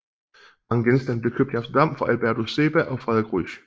Mange genstande blev købt i Amsterdam fra Albertus Seba ogFrederik Ruysch